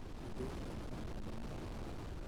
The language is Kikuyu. Indo icio nĩ hamwe na maũndũ maya.